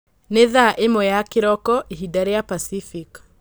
nĩ thaa ĩmwe ya kĩroko, ihinda rĩa Pacific